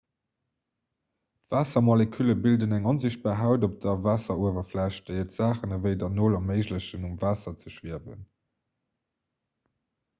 d'waassermolekülle bilden eng onsichtbar haut op der waasseruewerfläch déi et saachen ewéi der nol erméiglechen um waasser ze schwiewen